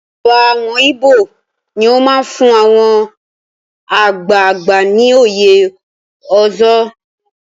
Ọba àwọn Ibo ní ó máa fún àwọn àgbààgbà ní oyè Ozo.